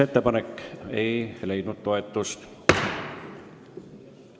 Ettepanek ei leidnud toetust.